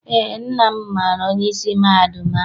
Eé, nna m maara onyeisi mahadum ahụ.